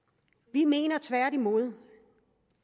vi mener tværtimod